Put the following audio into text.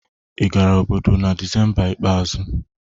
ị gara obodo na Disemba ikpeazụ?